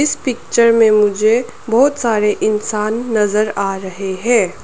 इस पिक्चर में मुझे बहुत सारे इंसान नजर आ रहे हैं।